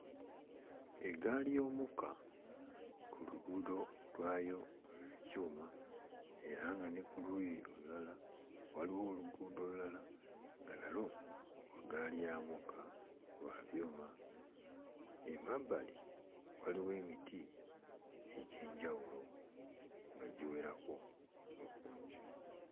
Eggaali y'omukka ku luguudo lwayo olw'ekyuma era nga ne ku luuuyi olulala waliwo oluguudo olulala nga nalwo lwa ggaali ya mukka lwa byuma. Emabbali waliwo emiti egy'enjawulo nga giwerako mu bungi.